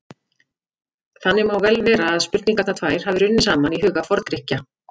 Þannig má vel vera að spurningarnar tvær hafi runnið saman í huga Forngrikkja.